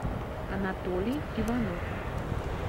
анатолий иванов